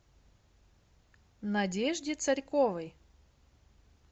надежде царьковой